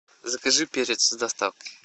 закажи перец с доставкой